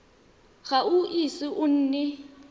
ga o ise o nne